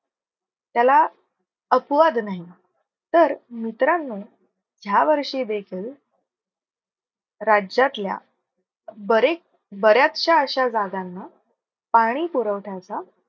त्याला अपवाद नाही तर मित्रांनो ह्या वर्षी देखील राज्यातल्या बरेच बऱ्याचश्या अश्या जागांना पाणी पुरवठ्याचा